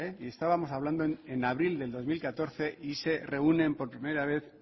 y estábamos hablando en abril de dos mil catorce y se reúnen por primera vez